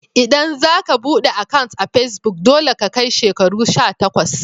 ldan za ka bude akant a'pesbuk, dolle ka kai shekaru sha takwas.